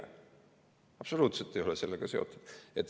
See ei ole absoluutselt sellega seotud.